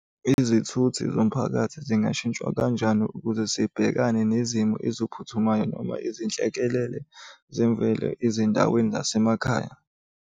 Izithuthi zomphakathi zingashintshwa kanjani ukuze zibhekane nezimo eziphuthumayo noma izinhlekelele zemvelo ezindaweni zasemakhaya.